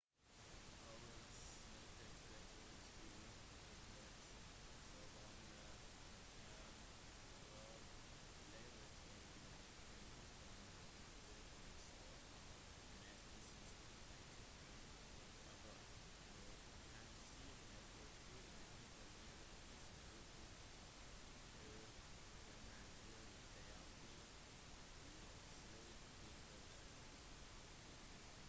roberts nektet rett ut å uttale seg om når han tror livet begynner noe som er et viktig spørsmål med hensyn til etikken rundt abort og han sier at det ville ikke være etisk riktig å kommentere detaljer i slike tilfeller